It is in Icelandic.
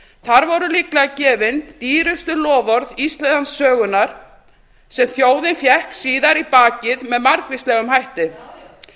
þar voru líklega gefin dýrustu loforð íslandssögunnar sem þjóðin fékk síðar í bakið með margvíslegum hætti já já